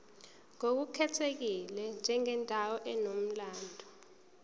ngokukhethekile njengendawo enomlando